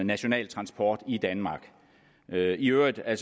national transport i danmark i øvrigt er